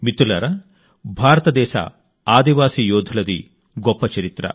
మిత్రులారా భారతదేశ ఆదివాసీ యోధులది గొప్ప చరిత్ర